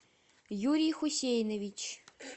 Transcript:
юрий хусейнович